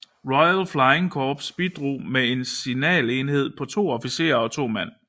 Royal Flying Corps bidrog med en signalenhed på to officerer og 2 mand